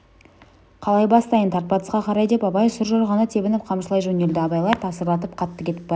қалай бастайын тарт батысқа қарай деп абай сұржорғаны тебініп қамшылай жөнелді абайлар тасырлатып қатты кетіп барады